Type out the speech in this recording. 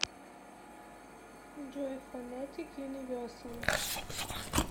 джой фонетик юниверсум